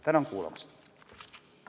Tänan kuulamast!